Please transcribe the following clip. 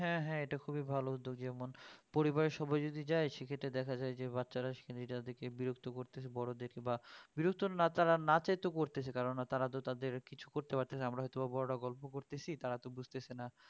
হ্যাঁ হ্যাঁ এটা খুবই ভালো উদ্যোগ যেমন পরিবারের সবাই যদি যায় সেটা দেখা যায় যে বাচ্চারা সেখানে তাদের বিরক্ত করতেছে বড়দেরকে বা বিরক্ত না তারা না চাইতেও করতেছে কেননা তারা তো তাদের কিছু করতে পারতেছেনা আমরা হয়ত বড়রা গল্প করতেছি তারা তো বুঝেছে না